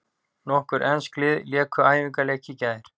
Nokkur ensk lið léku æfingaleiki í gær.